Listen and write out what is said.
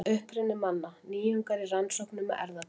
Uppruni manna: Nýjungar í rannsóknum með erfðatækni.